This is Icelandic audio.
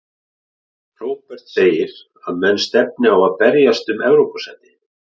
Róbert segir að menn stefni á að berjast um Evrópusæti.